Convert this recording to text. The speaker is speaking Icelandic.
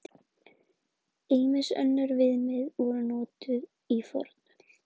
Ýmis önnur viðmið voru notuð í fornöld.